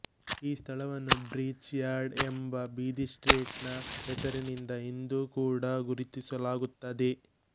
ಈ ಸ್ಥಳವನ್ನು bridge yard ಎಂಬಬೀದಿಸ್ಟ್ರೀಟ್ ನ ಹೆಸರಿನಿಂದ ಇಂದೂ ಕೂಡ ಗುರುತಿಸಲಾಗುತ್ತದೆ